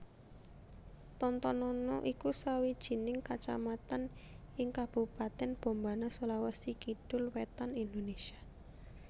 Tontonunu iku sawijining kacamatan ing Kabupatèn Bombana Sulawesi Kidul wétan Indonésia